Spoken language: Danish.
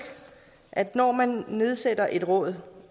at når man nedsætter et råd